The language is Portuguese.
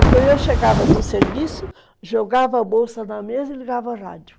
Então eu chegava do serviço, jogava a bolsa na mesa e ligava o rádio.